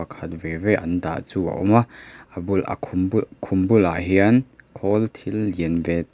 khat ve ve an dah chu a awm a a bulah a khum bul khum bulah hian khawl thil lian ve--